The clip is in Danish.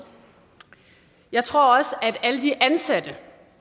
jeg tror også at alle de ansatte